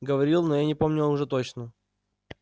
говорил но я не помню уже точно